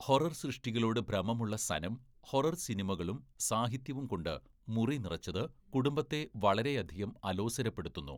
Horror സൃഷ്ടികളോട് ഭ്രമമുള്ള Sanam, horror സിനിമകളും സാഹിത്യവുംകൊണ്ട് മുറി നിറച്ചത് കുടുംബത്തെ വളരെയധികം അലോസരപ്പെടുത്തുന്നു.